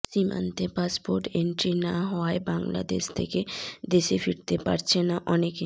সীমান্তে passport entry না হওয়ায় বাংলাদেশ থেকে দেশে ফিরতে পারছেন না অনেকে